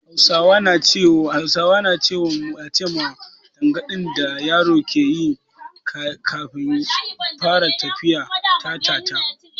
Hausawa na ce ma tangaɗin da yaro ke yi yayin da zai fara tafiya "Ta-ta-ta".